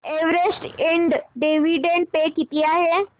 Everest इंड dividend pay किती आहे